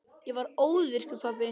Ég varð óvirkur pabbi.